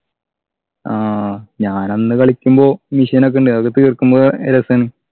ആഹ് ഞാനന്ന് കളിക്കുമ്പോ mission ഒക്കെ ഉണ്ടായി അതൊക്കെ തീർക്കുമ്പോ ഏർ രസാണ്